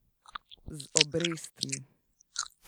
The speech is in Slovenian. Z obrestmi.